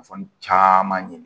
caman ye